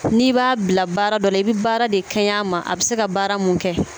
N'i b'a bila baara dɔ i bɛ baara de kɛɲɛ a ma a bɛ se ka baara mun kɛ